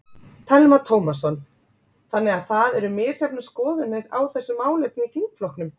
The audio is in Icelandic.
Telma Tómasson: Þannig að það eru misjafnar skoðanir á þessu málefni í þingflokknum?